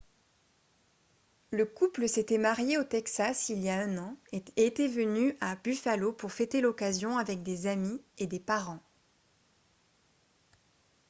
le couple s'était marié au texas il y a un an et était venu à buffalo pour fêter l'occasion avec des amis et des parents